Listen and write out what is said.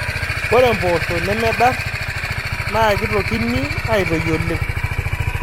Ore mpoosho nemedar naa kitokini aitoi oleng